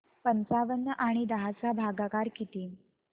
पंचावन्न आणि दहा चा भागाकार किती